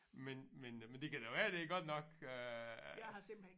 Men men men det kan være det er godt nok øh